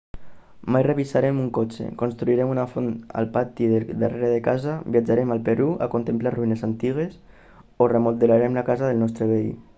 mai revisarem un cotxe construirem una font al pati del darrere de casa viatjarem al perú a contemplar ruïnes antigues o remodelarem la casa del nostre veí